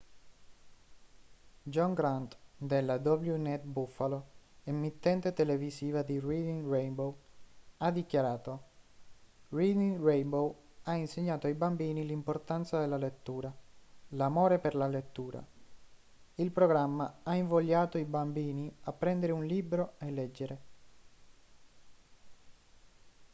john grant della wned buffalo emittente televisiva di reading rainbow ha dichiarato: reading rainbow ha insegnato ai bambini l'importanza della lettura l'amore per la lettura; [il programma] ha invogliato i bambini a prendere un libro e leggere